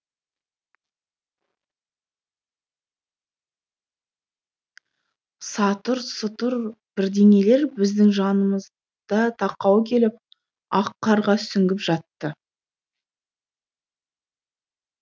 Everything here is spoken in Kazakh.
сатыр сұтыр бірдеңелер біздің жанымызда тақау келіп ақ қарға сүңгіп жатты